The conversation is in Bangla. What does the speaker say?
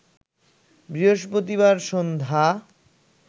বৃহস্পতিবার সন্ধ্যা